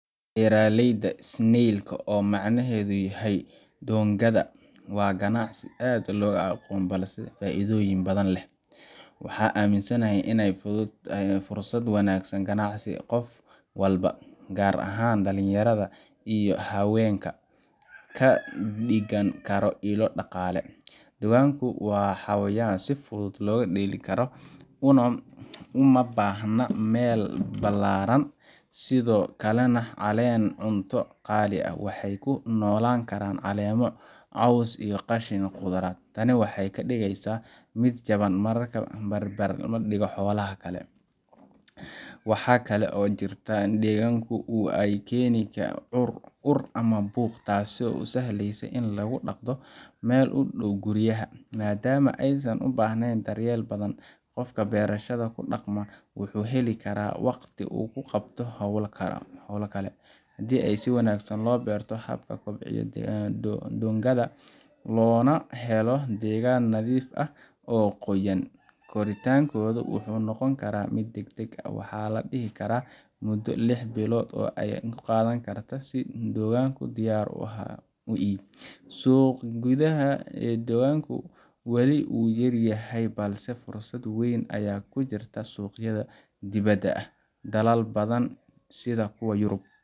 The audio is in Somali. Beeraleyda snail, oo macnaheedu yahay doongada, waa ganacsi aan aad loo aqoonin balse leh faa’iidooyin badan. Waxaan aaminsanahay in ay tahay fursad wanaagsan oo ganacsi oo qof walba, gaar ahaan dhalinyarada iyo haweenka, ka dhigan karo ilo dhaqaale. Doongadu waa xayawaan si fudud loo daryeeli karo, uma baahna meel ballaaran, sidoo kalena ma cunaan cunto qaali ah. Waxay ku noolaan karaan caleemo, caws, iyo qashin khudradeed. Tani waxay ka dhigeysaa mid jaban marka la barbardhigo xoolaha kale. Waxaa kale oo jirta in doongadu aysan keenin ur ama buuq, taasoo u sahleysa in lagu dhaqdo meel u dhow guryaha. Maadaama aysan ubaahnayn daryeel badan, qofka beerashada ku dhaqma wuxuu heli karaa waqti uu ku qabto hawlo kale. Haddii si wanaagsan loo barto habka loo kobciyo doongada, loona helo deegaan nadiif ah oo qoyaan leh, koritaankooda wuxuu noqon karaa mid deg deg ah. Waxaa la dhihi karaa muddo lix bilood ah ayay qaadan kartaa in la helo doongada diyaar u ah iib. Suuqa gudaha ee doongada wali wuu yar yahay, balse fursad weyn ayaa ka jirta suuqyada dibadda. Dalal badan sida kuwa Yurub